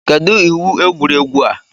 Kedụ iwu egwuregwu a?